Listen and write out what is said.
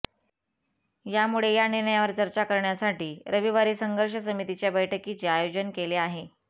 यामुळे या निर्णयावर चर्चा करण्यासाठी रविवारी संघर्ष समितीच्या बैठकीचे आयोजन केले आहे